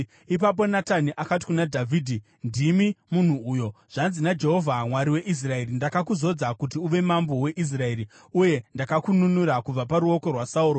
Ipapo Natani akati kuna Dhavhidhi, “Ndimi munhu uyo! Zvanzi naJehovha: Mwari weIsraeri: ‘Ndakakuzodza kuti uve mambo weIsraeri, uye ndakakununura kubva paruoko rwaSauro.